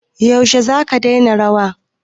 Yaushe zaka daina rawa?